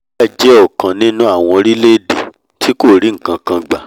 nigeria jẹ́ ọ̀kan nínú àwọn orílẹ̀èdè tí kò rí nkankan gbà